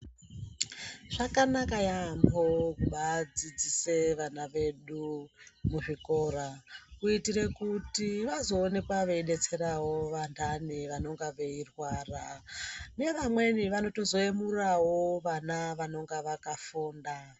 Zvakanaka yaamho kubaadzidzise vana vedu muzvikora kuitire kuti vazoonekwa veidetserawo vantani vanenge veirwara. Nevameni vanotozoyemurawo vana vanonga vakafunda.